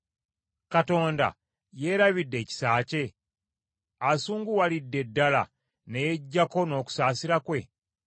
Katonda yeerabidde ekisa kye? Asunguwalidde ddala ne yeggyako n’okusaasira kwe?”